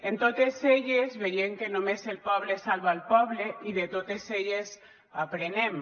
en totes elles veiem que només el poble salva el poble i de totes elles aprenem